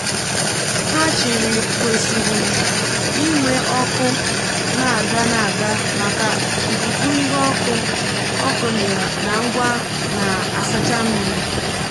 hachirii kwesịrị inwe ọkụ na-aga n’aga maka ikuku ihe ọkụ ọkụ na ngwa na-asacha mmiri.